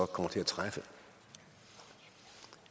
kommer til at træffe